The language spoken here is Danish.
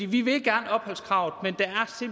vi vil gerne opholdskravet